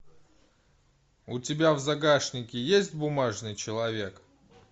у тебя в загашнике есть бумажный человек